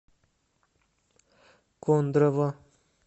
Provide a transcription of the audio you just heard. кондрово